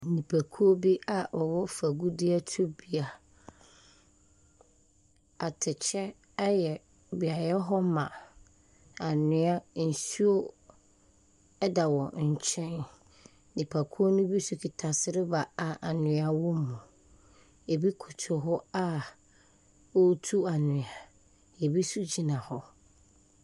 Nipakuo bi a wɔwɔ fam agudeɛ tubea. Atɛkyɛ ayɛbeaeɛ hɔ ma. Anwea, nsuo da wɔn nkyɛn hɔ. Nipakuo no bi nso kitakita sereba a anwea wɔ mu. Ɛbi koto hɔ a wɔretu anwea. Ɛbi nso gyina hɔ.